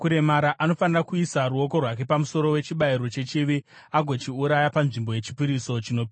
Anofanira kuisa ruoko rwake pamusoro wechibayiro chechivi agochiuraya panzvimbo yechipiriso chinopiswa.